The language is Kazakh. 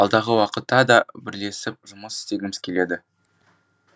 алдағы уақытта да бірлесіп жұмыс істегіміз келеді